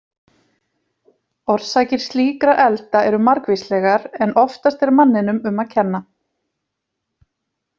Orsakir slíkra elda eru margvíslegar, en oftast er manninum um að kenna.